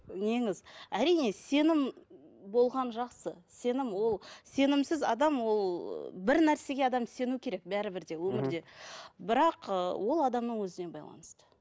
неңіз әрине сенім болған жақсы сенім ол сенімсіз адам ол ы бір нәрсеге адам сену керек бәрібір де өмірде бірақ ы ол адамның өзіне байланысты